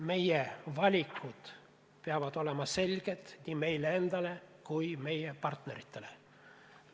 Meie valikud peavad olema selged nii meile endale kui meie partneritele.